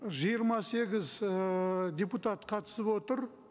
жиырма сегіз ыыы депутат қатысып отыр